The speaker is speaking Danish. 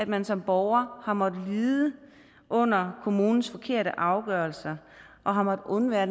man som borger har måttet lide under kommunens forkerte afgørelse og har måttet undvære